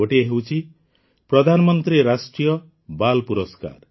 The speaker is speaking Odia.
ଗୋଟିଏ ହେଉଛି ପ୍ରଧାନମନ୍ତ୍ରୀ ରାଷ୍ଟ୍ରୀୟ ବାଲ୍ ପୁରସ୍କାର